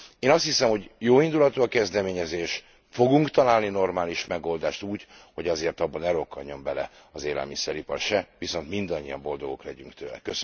Én azt hiszem, hogy jóindulatú a kezdeményezés, fogunk találni normális megoldást úgy, hogy azért abba ne rokkanjon bele az élelmiszeripar se, viszont mindannyian boldogok legyünk tőle.